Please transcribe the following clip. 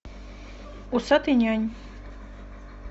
усатый нянь